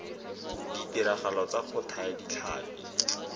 ditiragalong tsa go thaya ditlhapi